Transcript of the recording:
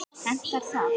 Hentar það?